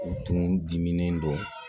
U tun diminen don